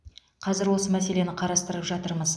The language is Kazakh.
қазір осы мәселені қарастырып жатырмыз